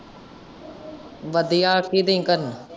ਵਧੀਆ, ਕੀ ਦਈ ਕਰਨ।